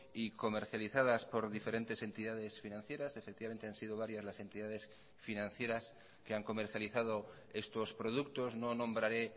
y comercializadas por diferentes entidades financieras efectivamente han sido varias las entidades financieras que han comercializado estos productos no nombraré